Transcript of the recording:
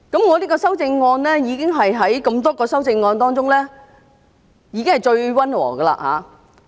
我這項修正案是多項修正案當中最溫和的了。